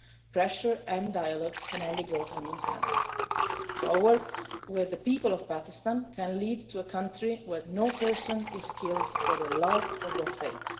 Pressure and dialogue can only go hand-in-hand. So our work with the people of Pakistan can lead to a country where no person is killed for their love or their faith.